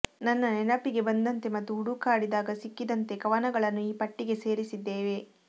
ನನ್ನ ನೆನಪಿಗೆ ಬಂದಂತೆ ಮತ್ತು ಹುಡುಕಾಡಿದಾಗ ಸಿಕ್ಕಿದಂತೆ ಕವನಗಳನ್ನು ಈ ಪಟ್ಟಿಗೆ ಸೇರಿಸಿದ್ದೇನೆ